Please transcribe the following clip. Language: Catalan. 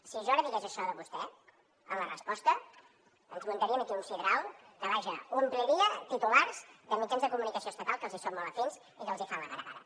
si jo ara digués això de vostè en la resposta ens muntarien aquí un sidral que vaja ompliria titulars de mitjans de comunicació estatal que els hi són molt afins i que els fan la gara gara